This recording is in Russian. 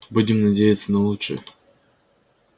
будем надеяться на лучшее